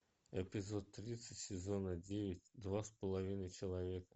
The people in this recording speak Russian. эпизод тридцать сезона девять два с половиной человека